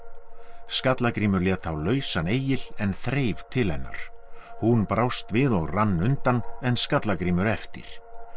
Skallagrímur lét þá lausan Egil en þreif til hennar hún brást við og rann undan en Skallagrímur eftir